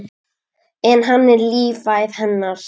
En hann er lífæð hennar.